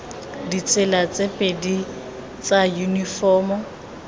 ditsela tse pedi tsa yunifomo